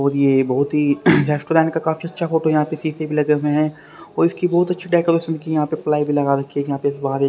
और ये बहोत ही रेस्टोरेंट का काफी अच्छा फोटो यहां पे सी_सी हैं और इसकी बहोत अच्छी डेकोरेशन की यहां पे प्लाई भी लगा रखी है यहां पे फुहा--